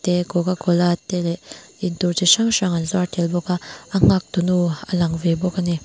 te cocacola te leh in tur chi hrang hrang an zuar tel bawk a a nghak tu nu a lang ve bawk a ni.